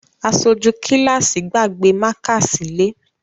Aṣojú kíláàsì gbàgbé mákà sílé